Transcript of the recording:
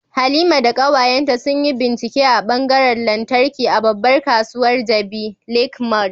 Halima da kawayenta sun yi bincike a ɓangaren lantarki a babbar kasuwar Jabi Lake Mall